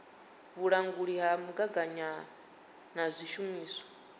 vhulanguli ha mugaganyagwama na zwishumiswa